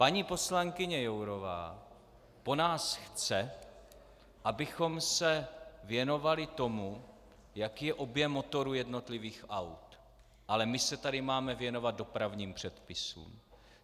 Paní poslankyně Jourová po nás chce, abychom se věnovali tomu, jaký je objem motoru jednotlivých aut, ale my se tady máme věnovat dopravním předpisům.